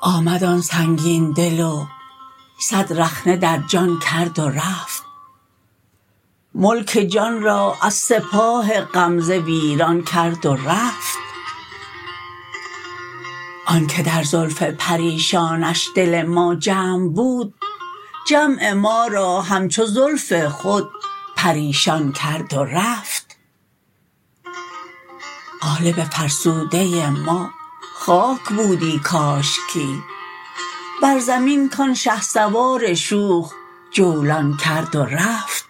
آمد آن سنگین دل و صد رخنه در جان کرد و رفت ملک جان را از سپاه غمزه ویران کرد و رفت آنکه در زلف پریشانش دل ما جمع بود جمع ما را همچو زلف خود پریشان کرد و رفت قالب فرسوده ما خاک بودی کاشکی بر زمین کان شهسوار شوخ جولان کرد و رفت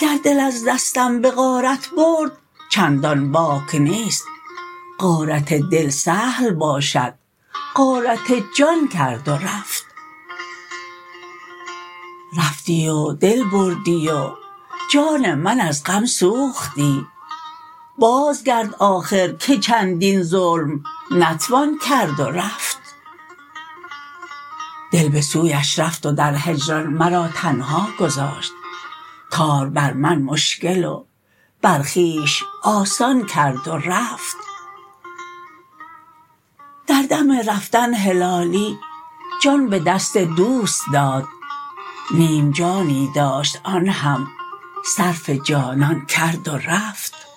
گر دل از دستم بغارت برد چندان باک نیست غارت دل سهل باشد غارت جان کرد و رفت رفتی و دل بردی و جان من از غم سوختی باز گرد آخر که چندین ظلم نتوان کرد و رفت دل بسویش رفت و در هجران مرا تنها گذاشت کار بر من مشکل و بر خویش آسان کرد و رفت در دم رفتن هلالی جان بدست دوست داد نیم جانی داشت آن هم صرف جانان کرد و رفت